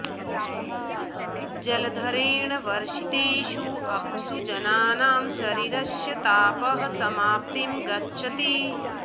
जलधरेण वर्षितेषु अप्सु जनानाम् शरीरस्य तापः समाप्तिम् गच्छति